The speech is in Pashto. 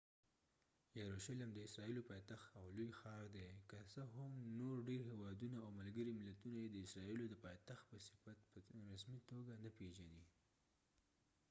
یروشلم د اسرايلو پايتخت او لوي ښاردي که څه هم نور ډیر هیوادونه او ملګری ملتونه یې د اسرایلو د پایتخت په صفت په رسمی توګه نه پیژنی